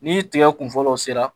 Ni tigɛ kun fɔlɔ sera